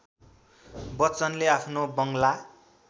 बच्चनले आफ्नो बंगला